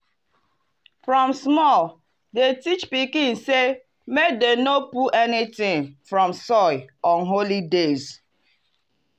from small dem teach pikin say make dem no pull anything from soil on holy days.